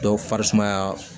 Dɔw farisumaya